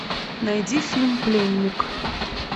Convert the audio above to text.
найди фильм пленник